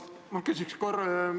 Ma küsin korra.